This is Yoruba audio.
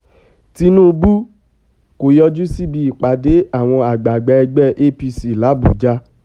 tinubu kò yọjú síbi ìpàdé àwọn àgbààgbà ẹgbẹ́ apc làbújá